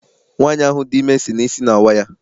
Nwaanyi ahụ dị ime si na isi na awa ya.